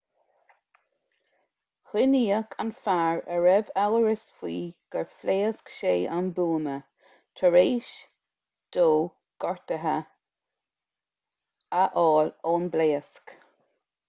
coinníodh an fear a raibh amhras faoi gur phléasc sé an buama tar éis dó gortuithe a fháil ón bpléasc